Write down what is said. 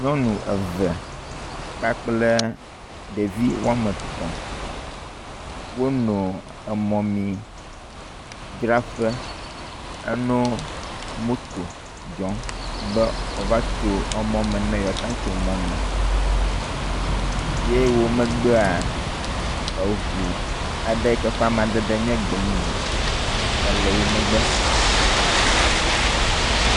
Nyɔnutsitsi woameve kple ɖevi woame etɔ̃ tsitre ɖe mɔmemidzraƒe aɖe ƒe ŋkume le mɔto le didim be yewoatso mɔ me, eʋu woame eve tɔ ɖe mɔmemidzraƒe la ƒe ŋkume ke dzo keke aɖe hã le mɔ dzi. Amadede vovovo le mɔmemidzraƒea si.